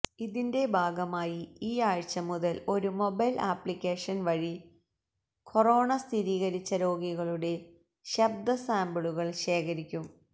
ഇതിന്റെ ഭാഗമായി ഈ ആഴ്ച്ച മുതൽ ഒരു മൊബൈൽ ആപ്ലിക്കേഷൻ വഴി കൊറോണ സ്ഥിരീകരിച്ച രോഗികളുടെ ശബ്ദ സാംപിളുകൾ ശേഖരിക്കും